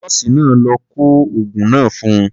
Nọ́ọ̀sì náà ló kọ oògun náà fún un.